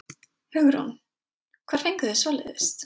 Hugrún: Hvar fenguð þið svoleiðis?